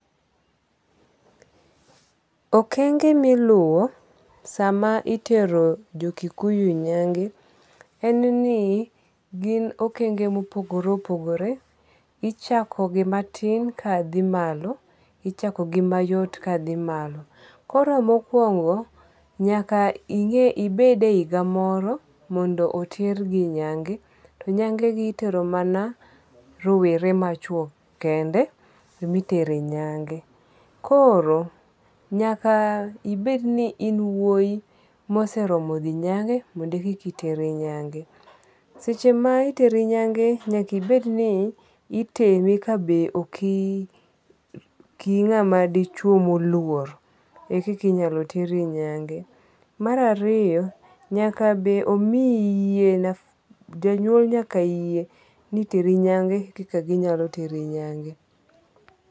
Okenge miluwo sama itero jo Kikuyu e nyange en ni gin okenge mopogore opogore. Ichako gi matin ka dhi malo ichako gi mayot ka dhi malo. Koro mokwongo nyaka ing'e ibed e higa moro mondo otergi nyange. To nyange gi itero mana rowere ma chuo kende emi tere nyange. Koro nyaka ibed ni in wuoi moseromo dhi nyange mondo e kiki teri nyange, Seche ma iteri nyange nyaka ibed ni itemi ka be oki ng'ama dichuo moluor ekiki nyalo teri nyange. Mar ariyo nyaka be omiyi yie jonyuol nyaka yie ni iteri nyange koka ginyalo teri nyange.